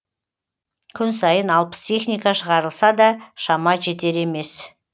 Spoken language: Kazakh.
күн сайын алпыс техника шығарылса да шама жетер емес